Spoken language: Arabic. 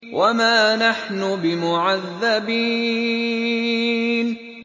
وَمَا نَحْنُ بِمُعَذَّبِينَ